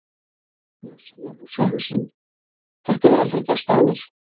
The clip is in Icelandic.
Magnús Hlynur Hreiðarsson: Þetta hefur aldrei gerst áður?